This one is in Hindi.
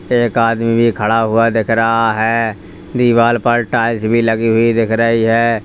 एक आदमी भी खड़ा हुआ दिख रहा है दीवाल पर टाइल्स भी लगी हुई दिख रही है।